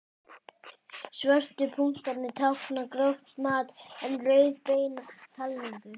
Svörtu punktarnir tákna gróft mat en rauðu beina talningu.